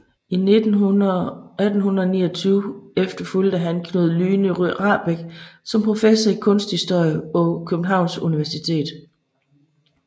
I 1829 efterfulgte han Knud Lyhne Rahbek som professor i kunsthistorie på Københavns Universitet